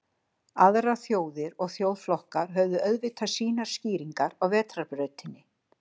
Aðrar þjóðir og þjóðflokkar höfðu auðvitað sínar skýringar á Vetrarbrautinni.